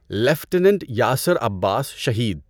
lieutenant Yasir Abbas Shaheed